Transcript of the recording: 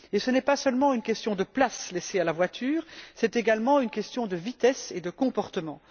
Ce n'est pas seulement une question de place laissée à la voiture, mais également une question de vitesse et de comportement.